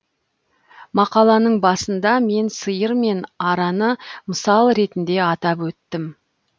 мақаланың басында мен сиыр мен араны мысал ретінде атап өттім